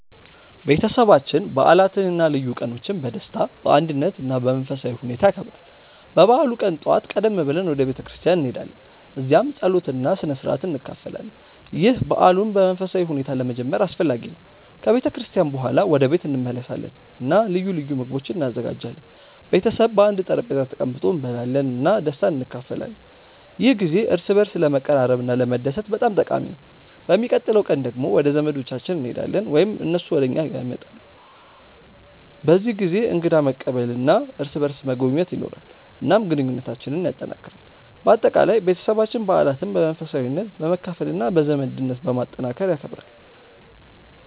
ቤተሰባችን በዓላትን እና ልዩ ቀኖችን በደስታ፣ በአንድነት እና በመንፈሳዊ ሁኔታ ያከብራል። በበዓሉ ቀን ጠዋት ቀደም ብለን ወደ ቤተ ክርስቲያን እንሄዳለን፣ እዚያም ጸሎት እና ስነ-ሥርዓት እንካፈላለን። ይህ በዓሉን በመንፈሳዊ ሁኔታ ለመጀመር አስፈላጊ ነው። ከቤተ ክርስቲያን በኋላ ወደ ቤት እንመለሳለን እና ልዩ ልዩ ምግቦች እንዘጋጃለን። ቤተሰብ በአንድ ጠረጴዛ ተቀምጦ እንበላለን እና ደስታን እንካፈላለን። ይህ ጊዜ እርስ በርስ ለመቀራረብ እና ለመደሰት በጣም ጠቃሚ ነው። በሚቀጥለው ቀን ደግሞ ወደ ዘመዶቻችን እንሄዳለን ወይም እነሱ ወደ እኛ ይመጣሉ። በዚህ ጊዜ እንግዳ መቀበል እና እርስ በርስ መጎብኘት ይኖራል፣ እናም ግንኙነታችንን ያጠናክራል። በአጠቃላይ፣ ቤተሰባችን በዓላትን በመንፈሳዊነት፣ በመካፈል እና በዘመድነት ማጠናከር ይከብራል።